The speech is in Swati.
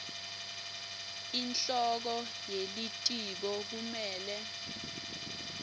inhloko yelitiko kumele